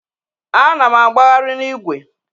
Ana m agbagharị n'igwe.